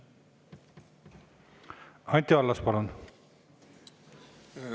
Anti Allas, palun!